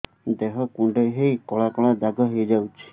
ଦେହ କୁଣ୍ଡେଇ ହେଇ କଳା କଳା ଦାଗ ହେଇଯାଉଛି